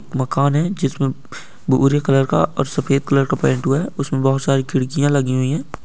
मकान है जिसमे भूरे कलर और सफेद कलर का पैंट हुआ है उसमे बहोत सारी खिड़किया लगी हुई है।